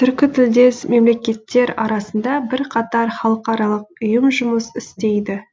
түркітілдес мемлекеттер арасында бірқатар халықаралық ұйым жұмыс істейді